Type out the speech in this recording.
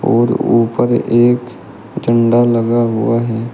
और ऊपर एक झंडा लगा हुआ है।